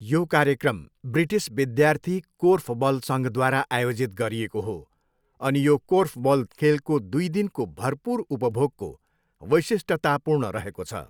यो कार्यक्रम ब्रिटिस विद्यार्थी कोर्फबल सङ्घद्वारा आयोजित गरिएको हो अनि यो कोर्फबल खेलको दुई दिनको भरपुर उपभोगको वैशिष्ट्यतापूर्ण रहेको छ।